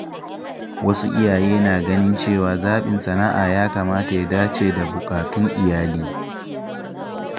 Wasu iyaye na ganin cewa zaɓin sana’a ya kamata ya dace da buƙatun iyali.